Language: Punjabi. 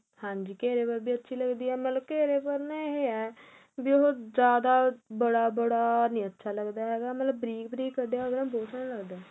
ਹਾਂਜੀ ਘੇਰੇ ਪਰ ਵੀ ਅੱਛੀ ਲੱਗਦੀ ਏ ਮਤਲਬ ਘੇਰੇ ਪਰ ਏਹ ਏ ਵੀ ਉਹ ਜਿਆਦਾ ਬੜਾ ਬੜਾ ਨਹੀਂ ਅੱਛਾ ਲੱਗਦਾ ਹੈਗਾ ਮਤਲਬ ਬਰੀਕ ਬਰੀਕ ਕੱਢਿਆ ਹੋਵੇ ਬਹੁਤ ਸੋਹਣਾ ਲੱਗਦਾ ਏ